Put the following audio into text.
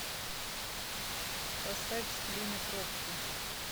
поставь сплина пробки